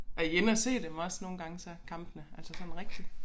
Er i inde og se dem også nogle gange så kampene altså sådan rigtigt